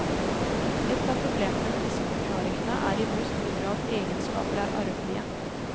Ett av problemene med disse forklaringene er i hvor stor egenskaper er arvelige.